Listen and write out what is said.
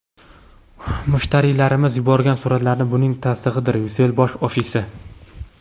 Mushtariylarimiz yuborgan suratlar buning tasdig‘idir: Ucell bosh ofisi.